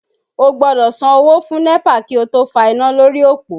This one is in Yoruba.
O gbọ́dọ̀ san owó fún NEPA kí o tó fa iná lórí òpó